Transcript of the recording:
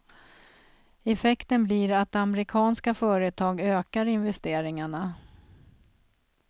Effekten blir att amerikanska företag ökar investeringarna.